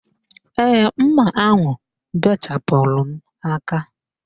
Ee, mma ahụ bechapụrụ m aka